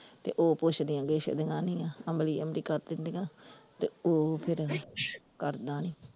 ਤੇ ਉਹ ਪੁੱਛਦੀਆਂ ਗਿੱਛਦੀਆਂ ਨਹੀਂ ਆ, ਅਮਲੀ ਅਮਲੀ ਕਰ ਦਿੰਦਿਆਂ ਤੇ ਉਹ ਫਿਰ ਕਰਦਾ ਨੀ।